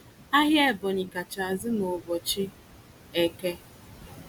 Ahịa Ebonyi kacha azụ n'ụbọchị Eke.